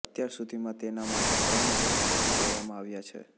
અત્યાર સુધીમાં તેના માટે ત્રણ રૂટ નક્કી કરવામાં આવ્યા છે